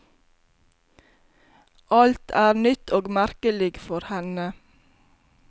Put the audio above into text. Alt er nytt og merkelig for henne.